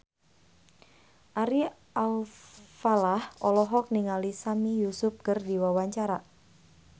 Ari Alfalah olohok ningali Sami Yusuf keur diwawancara